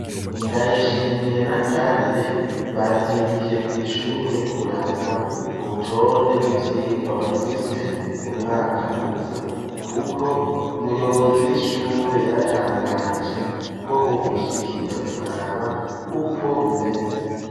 Ndayishimiye n'akarire bazindukiye kw’ishure kuraba urutonde rw'ivyigwa bafise mu mwaka uza kuko umuyobozi w'ishure yaratangaje ko bokwishikira kuraba ukwo bimeze.